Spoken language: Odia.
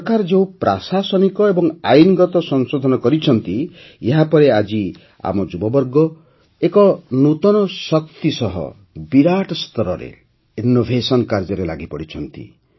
ସରକାର ଯେଉଁ ପ୍ରାଶାସନିକ ଏବଂ ଆଇନଗତ ସଂଶୋଧନ କରିଛନ୍ତି ଏହା ପରେ ଆଜି ଆମ ଯୁବବର୍ଗ ଏକ ନୂତନ ଶକ୍ତି ସହ ବିରାଟ ସ୍ତରରେ ଇନ୍ନୋଭେସନ୍ କାର୍ଯ୍ୟରେ ଲାଗିପଡ଼ିଛନ୍ତି